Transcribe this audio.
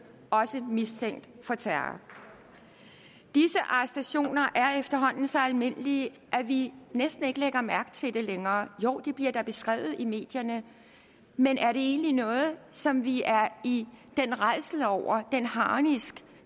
også mistænkt for terror disse arrestationer er efterhånden så almindelige at vi næsten ikke lægger mærke til det længere joh det bliver da beskrevet i medierne men er det egentlig noget som vi er i den rædsel over den harnisk